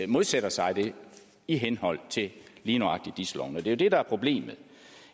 modsætter sig det i henhold til lige nøjagtig dis loven det er jo det der er problemet